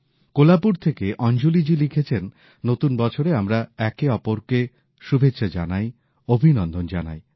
কোলহাপুর থেকে অঞ্জলীজি লিখেছেন নতুন বছরে আমরা একে অপরকে শুভেচ্ছা জানাই অভিনন্দন জানাই